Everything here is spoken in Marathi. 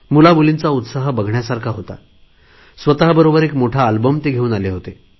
मुलामुलींचा उत्साह बघण्यासारखा होता स्वत बरोबर एक मोठा अल्बम घेऊन आले होते